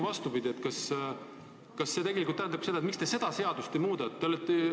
Ma küsingi, miks te seda seadust ei muuda.